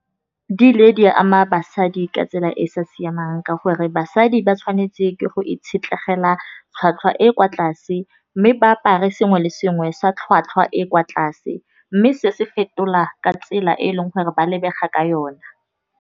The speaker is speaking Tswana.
Di ile di a ama basadi ka tsela e e sa siamang, ka gore basadi ba tshwanetse ke go itshetlegela tlhwatlhwa e kwa tlase. Mme ba apare sengwe le sengwe sa tlhwatlhwa e kwa tlase, mme se se fetola ka tsela e e leng gore ba lebega ka yona.